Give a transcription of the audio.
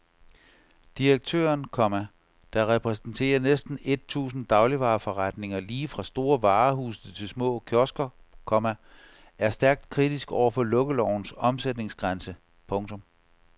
Direktøren, komma der repræsenterer næsten et tusind dagligvareforretninger lige fra store varehuse til små kiosker, komma er stærkt kritisk over for lukkelovens omsætningsgrænse. punktum